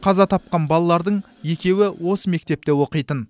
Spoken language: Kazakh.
қаза тапқан балалардың екеуі осы мектепте оқитын